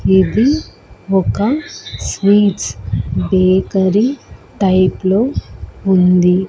ఇది ఒక sweets bakery type లో ఉంది.